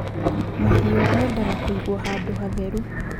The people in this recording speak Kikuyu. Mahiũ mendaga kũigwo handũ hatheru